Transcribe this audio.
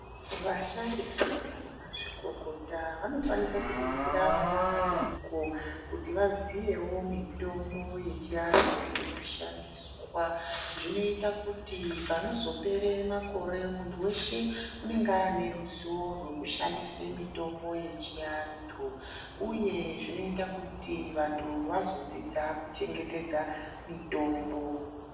Vasharukwa vana mazvikokota vanofanika kubetsera vana vadoko kuti vaziyewo mitombo yechianhu inoshandiswa, zvinoita kuti panozopere makore muntu weshe unenge ane ruziwo rwekushandise mitombo yechiantu uye zvinoita kuti vantu vazodzidza kuchengetedza mitombo.